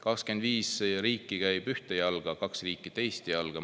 25 riiki käib ühte jalga, kaks riiki teist jalga.